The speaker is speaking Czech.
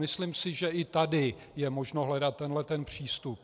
Myslím si, že i tady je možno hledat tento přístup.